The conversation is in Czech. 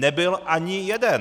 Nebyl ani jeden!